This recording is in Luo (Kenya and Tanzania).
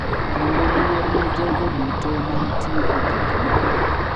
Kendo luor ne jogo duto ma nitie e gik moko.